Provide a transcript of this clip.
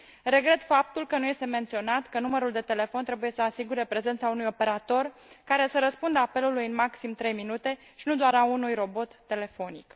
Regret faptul că nu este menționat că numărul de telefon trebuie să asigure prezența unui operator care să răspundă apelului în maxim 3 minute, și nu doar a unui robot telefonic.